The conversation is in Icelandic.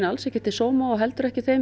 ekki til sóma og heldur ekki þeim